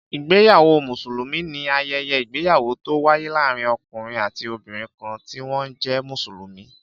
Ìgbéyàwó Mùsùlùmí ni ayẹyẹ ìgbéyàwó tó wáyé láàárín ọkùnrin àti obìnrin kan ti wọn jẹ Mùsùlùmí